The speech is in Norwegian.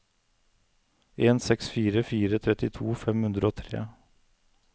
en seks fire fire trettito fem hundre og tre